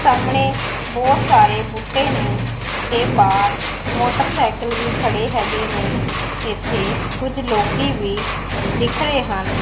ਸਾਹਮਣੇ ਬਹੁਤ ਸਾਰੇ ਬੂਟੇ ਨੇ ਤੇ ਬਾਹਰ ਮੋਟਰਸਾਈਕਲ ਵੀ ਖੜੇ ਹੈਗੇ ਨੇ ਇੱਥੇ ਕੁਝ ਲੋਕੀ ਵੀ ਦਿਖ ਰਹੇ ਹਨ।